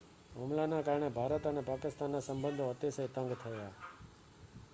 હુમલાના કારણે ભારત અને પાકિસ્તાનના સંબંધો અતિશય તંગ થયા